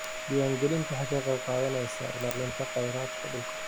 Diiwaangelintu waxay ka qayb qaadanaysaa ilaalinta khayraadka dhulka.